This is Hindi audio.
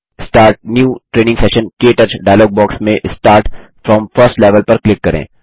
स्टार्ट न्यू ट्रेनिंग सेशन क टच डायलॉग बॉक्स में स्टार्ट फ्रॉम फर्स्ट लेवेल पर क्लिक करें